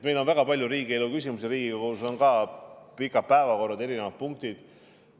Meil on väga palju riigielu küsimusi, Riigikogus on ka pikad päevakorrad, erinevad punktid.